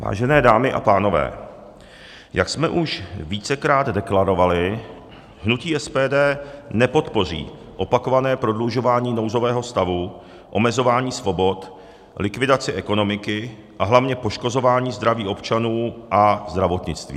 Vážené dámy a pánové, jak jsme už vícekrát deklarovali, hnutí SPD nepodpoří opakované prodlužování nouzového stavu, omezování svobod, likvidaci ekonomiky a hlavně poškozování zdraví občanů a zdravotnictví.